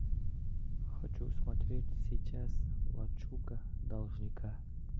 хочу смотреть сейчас лачуга должника